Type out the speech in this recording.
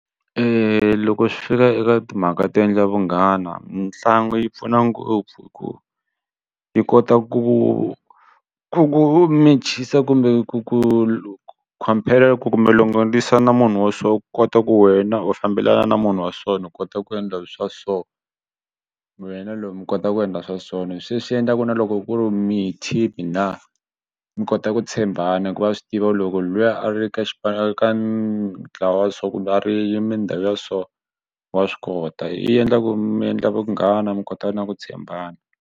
Loko swi fika eka timhaka to endla vunghana mitlangu yi pfuna ngopfu hikuva yi kota ku ku ku mechisa kumbe ku ku ku compare ku kumbe longolixa na munhu wa so u kota ku wena u fambelana na munhu wa so u kota ku endla swa so wena loyi mi kota ku endla swa so se swi endla ku na loko ku ri mi team na mi kota ku tshembana hikuva a swi tiva loko luya a ri ka xipano ka ntlawa so kumbe a ri mindhawu ya so wa swi kota yi endla ku mi endla vunghana mi kota na ku tshembana.